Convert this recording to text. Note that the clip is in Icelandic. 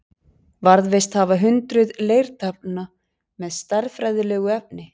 Varðveist hafa hundruð leirtaflna með stærðfræðilegu efni.